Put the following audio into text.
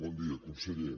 bon dia conseller